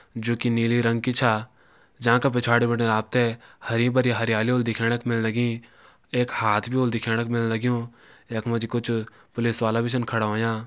जोकि नीली रंग की छा जांका पिछाड़ी बिटिन आप त हरी भरी हरियाली होली दिखेण का मिलण लगीं एक हाथ भी होलु दिखेण कू मिलण लग्युं यख मा जी कुछ पुलिस वाला भी छन खड़ा होयां।